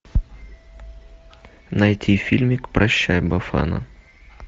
найти фильмик прощай бафана